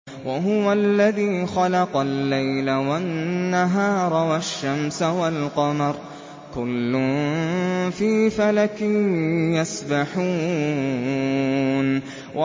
وَهُوَ الَّذِي خَلَقَ اللَّيْلَ وَالنَّهَارَ وَالشَّمْسَ وَالْقَمَرَ ۖ كُلٌّ فِي فَلَكٍ يَسْبَحُونَ